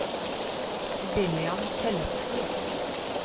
William Tellefsen